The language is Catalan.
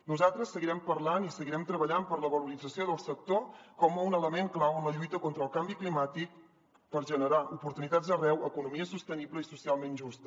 nosaltres seguirem parlant i seguirem treballant per la valorització del sector com un element clau en la lluita contra el canvi climàtic per generar oportunitats arreu economia sostenible i socialment justa